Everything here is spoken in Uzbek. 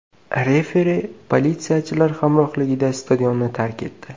Referi politsiyachilar hamrohligida stadionni tark etdi.